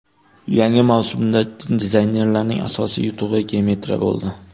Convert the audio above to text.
Yangi mavsumda dizaynerlarning asosiy yutug‘i geometriya bo‘ldi.